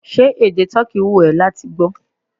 Ṣé èdè toki wù ó láti gbó?